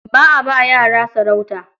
Ba a ba yara sarauta.